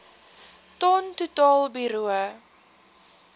ton totaal bruto